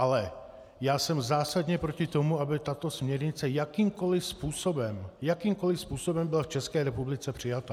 Ale já jsem zásadně proti tomu, aby tato směrnice jakýmkoliv způsobem, jakýmkoliv způsobem, byla v České republice přijata.